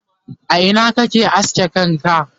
a Ina kake aske kanka?